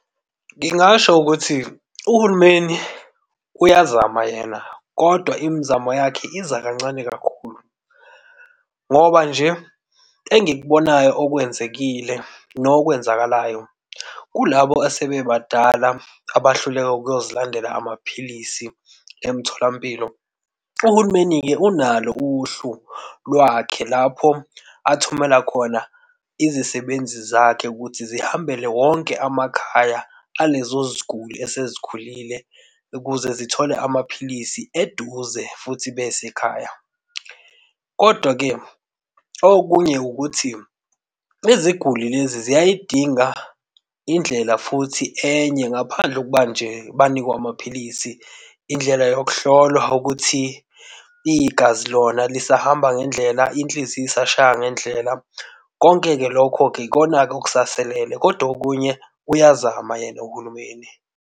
Ngingasho ukuthi uhulumeni uyazama yena, kodwa imizamo yakhe iza kancane kakhulu ngoba nje engikubonayo okwenzekile nokwenzakalayo. Kulabo asebebadala abahluleka ukuyozilandela amaphilisi emtholampilo, uhulumeni-ke unalo uhlu lwakhe lapho athumela khona izisebenzi zakhe ukuthi zihambele wonke amakhaya alezo ziguli esezikhulile ukuze zithole amaphilisi eduze futhi besekhaya. Kodwa-ke okunye ukuthi iziguli lezi ziyayidinga indlela futhi enye, ngaphandle kokuba nje banikwe amaphilisi. Indlela yokuhlolwa ukuthi igazi lona lisahamba ngendlela, inhliziyo isashaya ngendlela. Konke-ke lokho-ke ikona-ke okusaselele kodwa okunye uyazama yena uhulumeni.